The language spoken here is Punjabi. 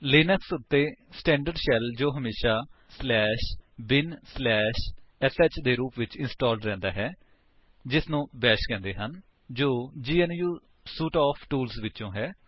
ਲਿਨਕਸ ਉੱਤੇ ਸਟੈਂਡਰਡ ਸ਼ੈਲ ਜੋ ਹਮੇਸ਼ਾ binsh ਦੇ ਰੂਪ ਵਿੱਚ ਇੰਸਟਾਲਡ ਰਹਿੰਦਾ ਹੈ ਜਿਸਨੂੰ ਬੈਸ਼ ਕਹਿੰਦੇ ਹਨ ਜੋ ਗਨੂ ਸੂਟ ਆਫ ਟੂਲਸ ਵਿਚੋਂ ਹੈ